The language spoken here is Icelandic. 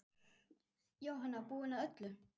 Jóhanna: Búinn að öllu?